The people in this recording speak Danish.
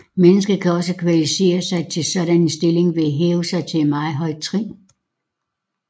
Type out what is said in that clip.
Mennesket kan også kvalificere sig til sådan en stilling ved at hæve sig til et meget højt trin